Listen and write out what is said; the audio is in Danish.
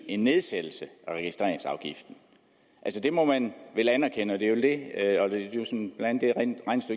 en nedsættelse af registreringsafgiften det må man vel anerkende og det er blandt andet